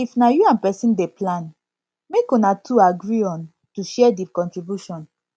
if na you and person dey plan make una two agree on to share di contribution